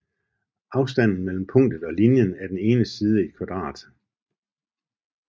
Afstanden mellem punktet og linjen er den ene side i et kvadrat